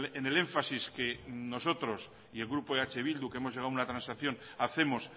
en el énfasis que nosotros y el grupo eh bildu que hemos llegado a una transacción hacemos